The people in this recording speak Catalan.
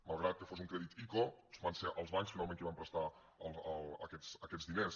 malgrat que fos un crèdit ico van ser els bancs finalment qui van prestar aquests diners